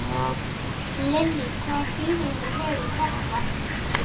Lillý: Hvaða þýðingu hefur þetta?